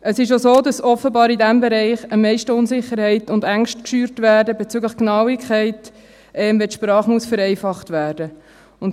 Es ist auch so, dass in diesem Bereich offenbar am meisten Unsicherheit und Ängste geschürt werden bezüglich Genauigkeit, wenn die Sprache vereinfacht werden muss.